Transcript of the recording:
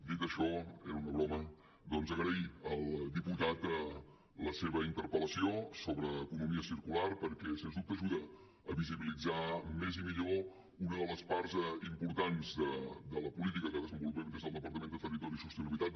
dit això era una broma doncs agrair al diputat la seva interpel·lació sobre economia circular perquè sens dubte ajuda a visibilitzar més i millor una de les parts importants de la política que desenvolupem des del departament de territori i sostenibilitat